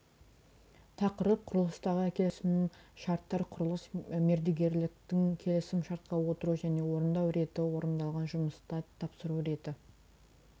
тақырып құрылыстағы келісім шарттар құрылыс мердігерліктің келісім шартқа отыру және орындау реті орындалған жұмыста тапсыру реті